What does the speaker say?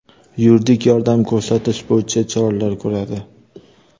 yuridik yordam ko‘rsatish bo‘yicha choralar ko‘radi.